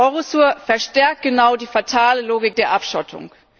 Eurosur verstärkt genau die fatale Logik der Abschottung.